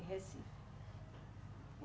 Em Recife.